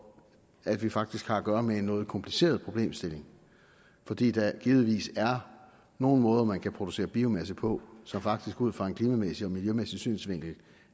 at vi faktisk har at gøre med en noget kompliceret problemstilling fordi der givetvis er nogle måder man kan producere biomasse på som faktisk ud fra en klimamæssig og miljømæssig synsvinkel